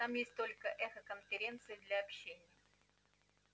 там есть только эхоконференции для общения